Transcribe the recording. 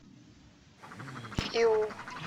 иу